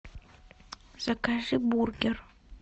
закажи бургер